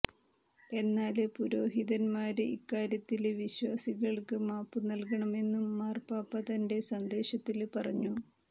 എന്നാല് പുരോഹിതന്മാര് ഇക്കാര്യത്തില് വിശ്വാസികള്ക്ക് മാപ്പ് നല്കണമെന്നും മാര്പാപ്പ തന്റെ സന്ദേശത്തില് പറഞ്ഞു